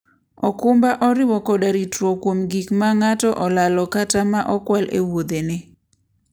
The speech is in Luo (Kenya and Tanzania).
okumba oriwo koda ritruok kuom gik ma ng'ato olalo kata ma okwal e wuodhene.